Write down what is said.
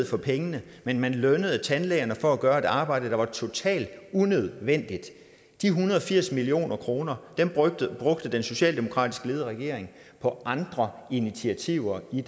for pengene men man lønnede tandlægerne for at gøre et arbejde der var totalt unødvendigt de en hundrede og firs million kroner brugte den socialdemokratisk ledede regering på andre initiativer i